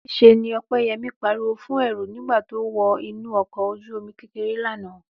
Níṣe ni Ọpẹ́yẹmí pariwo fún Ẹ̀rù nígbà tó wọ inú ọkọ̀ ojú-omi kékeré lánàá